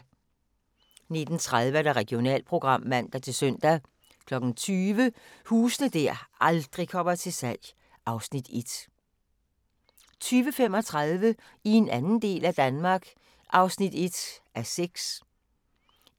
19:30: Regionalprogram (man-søn) 20:00: Huse der aldrig kommer til salg (Afs. 1) 20:35: I en anden del af Danmark (1:6)